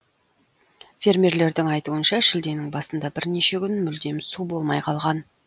фермерлердің айтуынша шілденің басында бірнеше күн мүлдем су болмай қалған